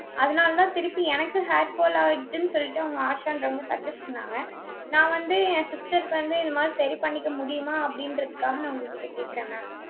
அதனாலதான், திருப்பி எனக்கு hairfall ஆயிடுச்சுன்னு சொல்லிட்டு, அவங்க ஆஷான்றவங்க, suggest பண்ணாங்க. நான் வந்து, என் sister க்கு வந்து, இந்த மாதிரி, சரி பண்ணிக்க முடியுமா? அப்படின்றதுக்காக, நான் உங்ககிட்ட கேட்கிறேன் mam.